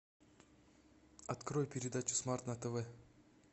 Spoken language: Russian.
открой передачу смарт на тв